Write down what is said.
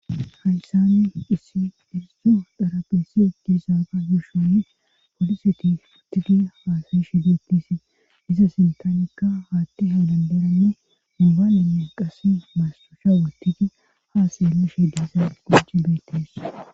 Hayssani issi hirisho darabeesi ekisaafa gushoni poliseti uttidi haasayi shi detisi diza sintanika haatti ha danderanne mubaalenne qasse maasuosha wotidi haaseyelu she diisa goji beetes